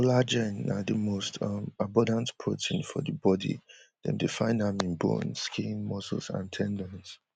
collagen na di most um abundant protein for di body dem dey find am in bones skin muscles and ten dons